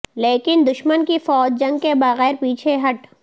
لیکن دشمن کی فوج جنگ کے بغیر پیچھے ہٹ